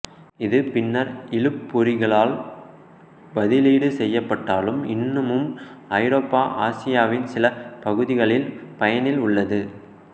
இது பின்னர் இழுபொறிகளால் பதிலீடு செய்யப்பட்டாலும் இன்னமும் ஐரோப்பா ஆசியாவ்ன் சில பகுதிகளில் பயனில் உள்ளது